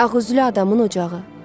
Ağüzlü adamın ocağı.